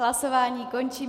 Hlasování končím.